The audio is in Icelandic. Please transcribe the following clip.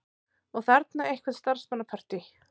Og þarna eitthvert starfsmannapartí.